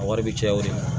A wari bɛ caya o de ma